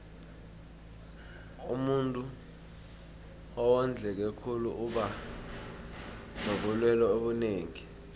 umuntuu owondleke khulu uba nobulelwe obunengi